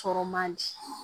Sɔrɔ man di